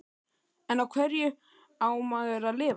En á hverju á maður að lifa?